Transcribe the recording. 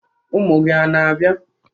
Ụmụ gị ana-abịa?